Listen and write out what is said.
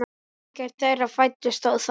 Ekkert þeirra fæddist þó þar.